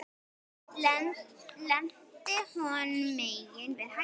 Lendi hinum megin við hæðina.